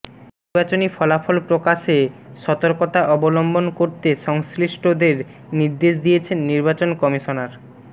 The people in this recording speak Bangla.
নির্বাচনী ফলাফল প্রকাশে সতর্কতা অবলম্বন করতে সংশ্লিষ্টদের নির্দেশ দিয়েছেন নির্বাচন কমিশনার মো